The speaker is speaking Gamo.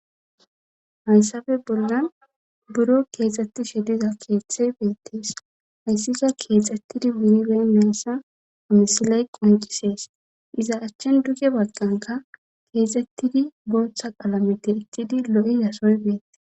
haysafe boldan buro she diza keexhthey beettees hayssika keexxettidi munibee measa amisiley qoncisees iza achchen duke bagganka keexxettidi booththa qalameti ittidi lo7i zasoy beettees